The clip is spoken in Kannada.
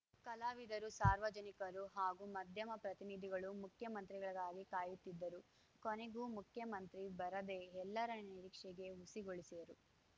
ಕಲಾವಿದರು ಸಾರ್ವಜನಿಕರು ಹಾಗೂ ಮಧ್ಯಮ ಪ್ರತಿನಿಧಿಗಳು ಮುಖ್ಯಮಂತ್ರಿಗಳಿಗಾಗಿ ಕಾಯುತ್ತಿದ್ದರು ಕೊನೆಗೂ ಮುಖ್ಯಮಂತ್ರಿ ಬರದೆ ಎಲ್ಲರ ನಿರೀಕ್ಷೆಗೆ ಹುಸಿಗೊಳಿಸಿದರು